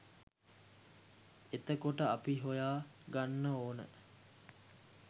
එතකොට අපි හොයා ගන්න ඕන